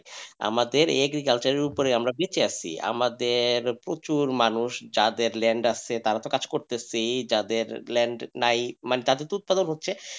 আমাদের agriculture এর উপরে বেঁচে আছি আমাদের প্রচুর মানুষ যাদের land আছে তারা তো কাজ করতেছি যাদের land নাই তাদের তো উৎপাদন হচ্ছে।